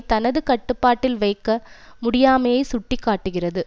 தனது கட்டுப்பாட்டில் வைக்க முடியாமையை சுட்டி காட்டுகிறது